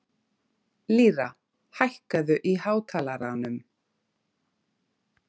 Lýra, hækkaðu í hátalaranum.